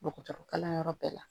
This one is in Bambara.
Dɔgɔtɔrɔkalanyɔrɔ bɛɛ la